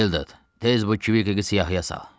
Vildad, tez bu Kvik siyahıya sal.